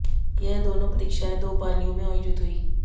यह दोनों परीक्षाएं दो पालियों में आयोजित हुई